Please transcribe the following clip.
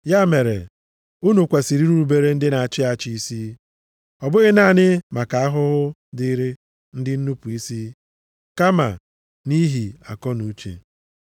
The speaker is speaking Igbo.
Ya mere unu kwesiri irubere ndị na-achị achị isi, ọ bụghị naanị maka ahụhụ dịrị ndị nnupu isi, kama nʼihi akọnuche.